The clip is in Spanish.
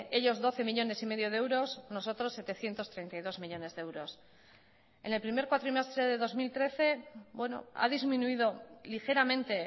ellos doce millónes y medio de euros nosotros setecientos treinta y dos millónes de euros en el primer cuatrimestre de dos mil trece ha disminuido ligeramente